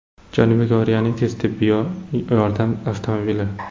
Janubiy Koreyaning tez tibbiy yordam avtomobili.